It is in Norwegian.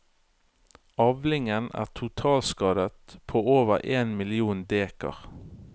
Avlingen er totalskadet på over én million dekar.